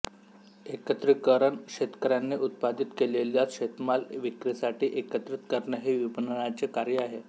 एकत्रीकरण शेतकऱ्याने उत्पादित केलेला शेतमाल विक्रीसाठी एकत्रित करणे ही विपणनाचे कार्य आहे